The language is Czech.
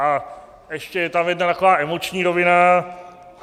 A ještě je tam jedna taková emoční rovina.